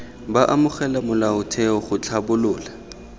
b amogela molaotheo c tlhabolola